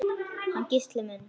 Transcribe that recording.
Hann Gísli minn?